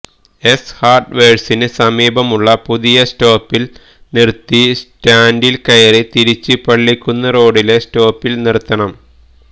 S ഹാര്ഡ് വേര്സിന് സമീപമുള്ള പുതിയ സ്റ്റോപ്പില് നിര്ത്തി സ്റ്റാന്ഡില് കയറി തിരിച്ച് പള്ളിക്കുന്ന് റോഡിലെ സ്റ്റോപ്പില് നിര്ത്തണം